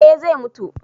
eh zai mutu